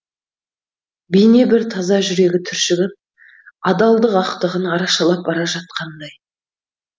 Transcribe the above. бейне бір таза жүрегі түршігіп адалдық ақтығын арашалап бара жатқандай